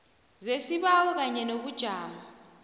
zesibawo kanye nobujamo